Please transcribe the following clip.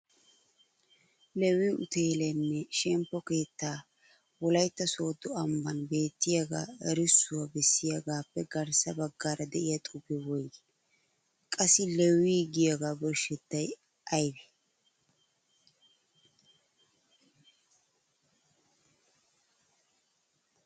Leewii Uteelenne shemppo keettaa Wolaytta Sooddo ambban beettiyaaga erissuwaa bessiyaagappe garssa baggaara de'iya xuufe woyggii? Qassi Leewi giyooga birshshetay aybbe?